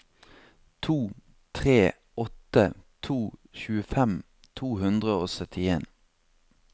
to tre åtte to tjuefem to hundre og syttien